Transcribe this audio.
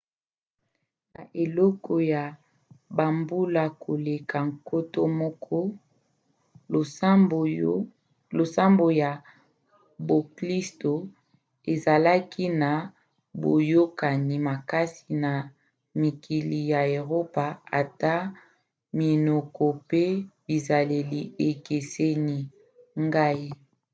na eleko ya bambula koleka nkoto moko losambo ya boklisto ezalaki na boyokani makasi na mikili ya eropa ata minoko pe bizaleli ekeseni. ngai